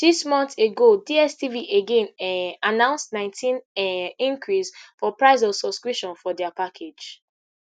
six months ago dstv again um announce nineteen um increase for price of subscription for dia package